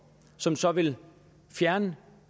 som så vil fjerne